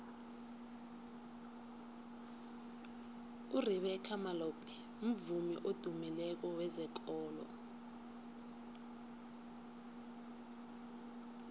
urebeca malope mvumi odumileko wezekolo